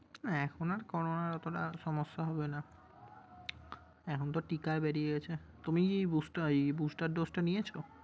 না এখন আর করোনা এতোটা সমস্যা হবে না। এখন তো টিকা বেরিয়েছে। তুমি বুস্টা ইয়ে booster dose টা নিয়েছো?